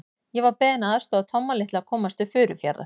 Ég var beðinn að aðstoða Tomma litla að komast til Furufjarðar.